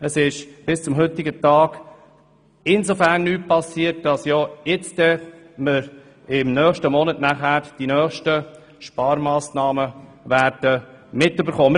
Bis zum heutigen Tag ist insofern nichts passiert, als wir im nächsten Monat die nächsten Sparmassnahmen diskutieren werden.